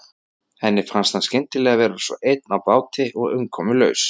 Henni fannst hann skyndilega vera svo einn á báti og umkomulaus.